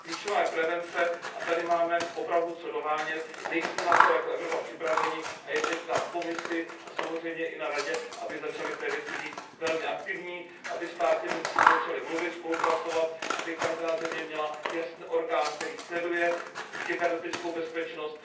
Klíčová je prevence a tady máme opravdu co dohánět, nejsme na to jako Evropa připraveni a je teď na Komisi a samozřejmě i na Radě, aby začaly v té věci být velmi aktivní, aby státy mezi sebou začaly mluvit, spolupracovat, aby každá země měla jasný orgán, který sleduje kybernetickou bezpečnost.